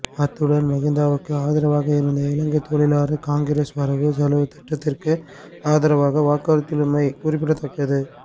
அத்துடன் மகிந்தவுக்கு ஆதரவாக இருந்த இலங்கைத் தொழிலாளர் காங்கிரஸ் வரவு செலவுத் திட்டத்திற்கு ஆதரவாக வாக்களித்துள்ளமை குறிப்பிடத்தக்கது்